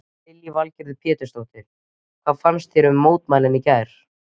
Lillý Valgerður Pétursdóttir: Hvað fannst þér um mótmælin í gær?